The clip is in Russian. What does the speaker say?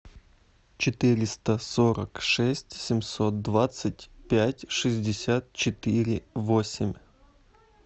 четыреста сорок шесть семьсот двадцать пять шестьдесят четыре восемь